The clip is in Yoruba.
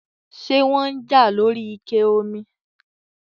ṣé wọ́n ń jà lóri ike omi?